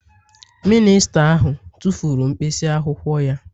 Mịnịsta ahụ tụfuru mkpịsị akwụkwọ ya